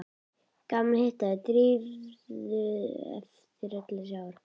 Gaman að hitta Drífu eftir öll þessi ár.